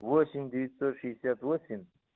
восемь девятьсот шестьдесят восемь